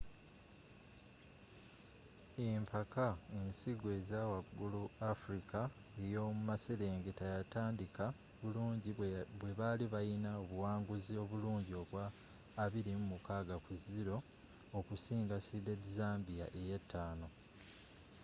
empaka ensigo eza wagulu africa ey'omu maserengeta yatandika bulungi bwe baali balina obuwanguzi obulungi obwa 26-00 okusinga seeded zambia eya 5